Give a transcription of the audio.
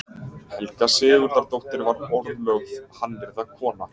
Helga Sigurðardóttir varð orðlögð hannyrðakona.